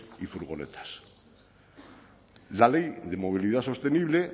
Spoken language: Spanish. y furgonetas la ley de movilidad sostenible